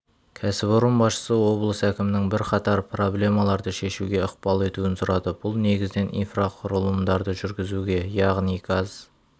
кәсіпорын басшысы облыс әкімінің бірқатар проблемаларды шешуге ықпал етуін сұрады бұл негізінен инфрақұрылымдарды жүргізуге яғни газ